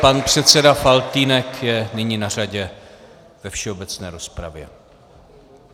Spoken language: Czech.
Pan předseda Faltýnek je nyní na řadě ve všeobecné rozpravě.